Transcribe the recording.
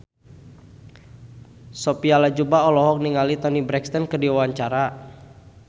Sophia Latjuba olohok ningali Toni Brexton keur diwawancara